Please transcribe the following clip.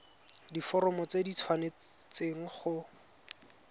diforomo tse di tshwanesteng go